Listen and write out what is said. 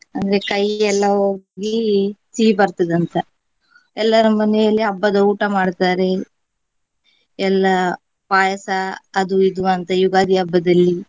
ಅಂದ್ರೆ ಕಹಿ ಎಲ್ಲಾ ಹೋಗಿ ಸಿಹಿ ಬರ್ತದಂತ ಎಲ್ಲರ ಮನೆಯಲ್ಲಿ ಹಬ್ಬದ ಊಟ ಮಾಡ್ತಾರೆ ಎಲ್ಲ ಪಾಯಸ ಅದು ಇದು ಅಂತ ಯುಗಾದಿ ಹಬ್ಬದಲ್ಲಿ.